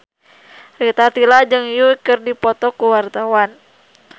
Rita Tila jeung Yui keur dipoto ku wartawan